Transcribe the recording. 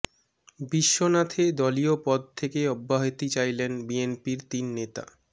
বিশ্বনাথে দলীয় পদ থেকে অব্যাহতি চাইলেন বিএনপির তিন নেতা